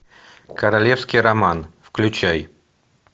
королевский роман включай